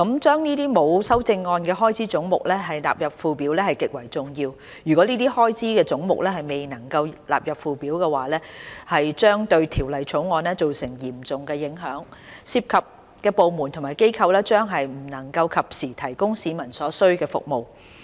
將這些沒有修正案的開支總目納入附表極為重要，如果這些開支總目未能納入附表，將對《2019年撥款條例草案》造成嚴重影響，涉及的部門和機構將不能及時為市民提供所需要的服務。